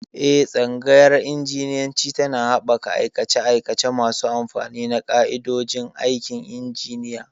Eh, Tsangayar Injiniyanci tana haɓaka aikace-aikace masu amfani na ƙa'idodin aikin injiniya.